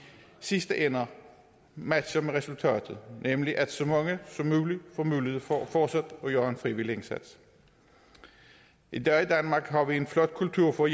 sidste ende matcher resultatet nemlig at så mange som muligt får mulighed for fortsat at gøre en frivillig indsats i dag i danmark har vi en flot kultur for